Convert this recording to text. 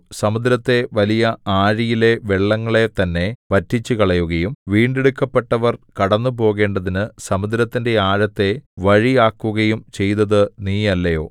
സമുദ്രത്തെ വലിയ ആഴിയിലെ വെള്ളങ്ങളെ തന്നെ വറ്റിച്ചുകളയുകയും വീണ്ടെടുക്കപ്പെട്ടവർ കടന്നുപോകേണ്ടതിനു സമുദ്രത്തിന്റെ ആഴത്തെ വഴിയാക്കുകയും ചെയ്തതു നീയല്ലയോ